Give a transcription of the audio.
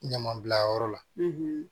Ɲamabilayɔrɔ la